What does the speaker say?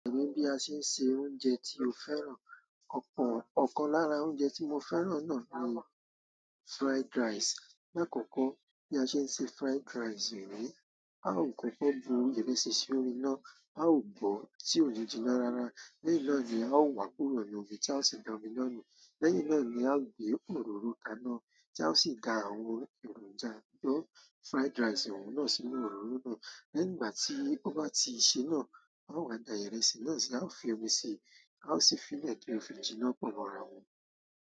Èmi bí a ṣe ń se oúnjẹ tí ó fẹ́ràn. Ọ̀pọ̀ ọ̀kan lára oúnjẹ tí mo fẹ́ràn náà ni fried rice. Láàkọ́kọ́ tí a ṣe ń ṣe fried rice yìí ni, a ó kókó bu ìrẹsì sí orí iná, a ó bọ́ọ́ tí ò ni jiná rara. Lẹ́yìn náà ni a ó wà kúrò lórí omi tí a ó sì da omi náà nù. Lẹ́yìn náà ni a ó gbé òróró kaná tí a ó sì da àwọn èròjà tó fried rice ọun náà sínú òróró náà. Lẹ́yìn ìgbà tí ó bá ti ṣe náà, a ó wá da ìrẹsì náà sí, a ó fi omi si, a ó sì fi lẹ̀ ki o fi jìnná pọ̀ mọ́ ara wọn.